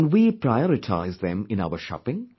Can we prioritize them in our shopping